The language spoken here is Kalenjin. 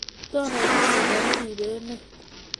Tononi chito neribe emet